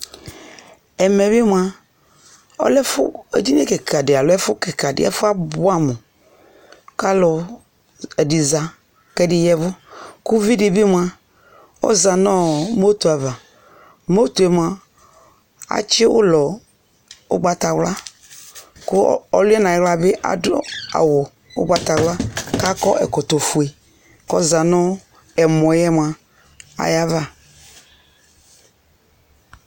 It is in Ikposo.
Ɛmɛ bι mʋa, ɔlɛ ɛfʋ, edini kιka dι alo ɛfʋ kιka dι,ɛfʋ yɛ abʋɛ amʋ, kʋ alʋ ɛdι za kʋ ɛdι yavʋ, kʋ uvi dι bι mʋa, ɔza nʋ moto ava Moto yɛ mʋa atsι ʋʋlɔ ʋgbatawla, kʋ ɔlʋ nʋ ayιɣla bi adʋ awʋ ʋgbatawla, ku akɔ ɛkɔtɔ fue kʋ ɔza nʋ ɛmɔ yɛ mʋa, ayι ava